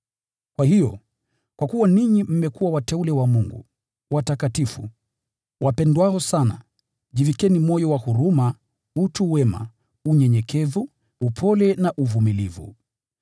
Kwa hiyo, kwa kuwa ninyi mmekuwa wateule wa Mungu, watakatifu wapendwao sana, jivikeni moyo wa huruma, utu wema, unyenyekevu, upole na uvumilivu.